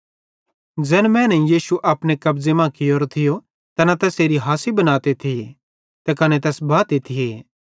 ज़ैने मैनेईं यीशु अपने कब्ज़े मां कियोरो थियो तैना तैसेरी हासी बनाते थिये ते कने तैस बाते थिये